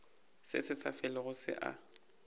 se sa felego se a